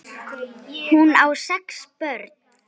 Hún á sex börn.